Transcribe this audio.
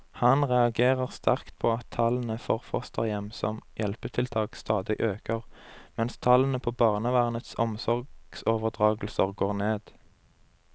Han reagerer sterkt på at tallene for fosterhjem som hjelpetiltak stadig øker, mens tallene på barnevernets omsorgsoverdragelser går ned.